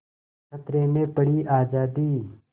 खतरे में पड़ी आज़ादी